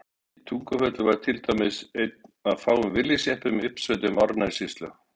Í Tungufelli var til dæmis einn af fáum Willys-jeppum í uppsveitum Árnessýslu.